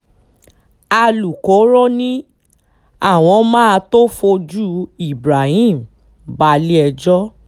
alūkkóró ni àwọn máa tóó fojú ibrahim balẹ̀-ẹjọ́